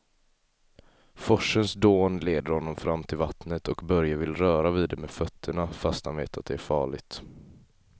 Forsens dån leder honom fram till vattnet och Börje vill röra vid det med fötterna, fast han vet att det är farligt.